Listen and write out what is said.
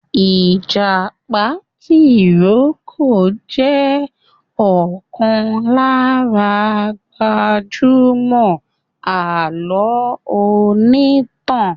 ìjàpá tìrókò jẹ̀ ọ̀kan lára gbajúgbajà alọ onítàn.